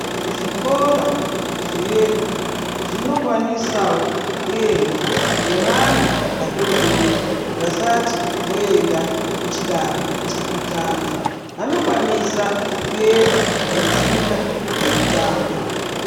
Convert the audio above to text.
Zvikora zvedu zvinokwanisawo kuendwa nevana vadodori vacation voenda kuchidano chekutanga. Vanokwanisa kuenda veifunda veitamba.